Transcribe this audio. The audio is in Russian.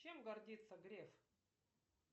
чем гордится греф